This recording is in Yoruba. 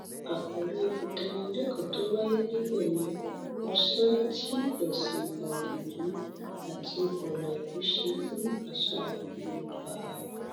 àkòrí ìdánilẹkọọ tó wáyé níbẹ ni ọsẹ tí ẹsìn àjòjì àti ọlàjú ṣe fún àṣà yorùbá